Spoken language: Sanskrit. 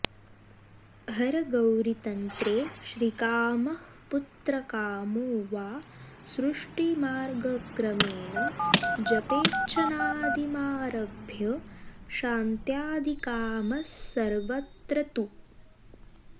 हरगौरीतन्त्रे श्रीकामः पुत्रकामो वा सृष्टिमार्गक्रमेण जपेच्छनादिमारभ्य शान्त्यादिकामः सर्वत्र तु